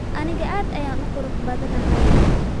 Aniga Aad ayaan u qurux badanahay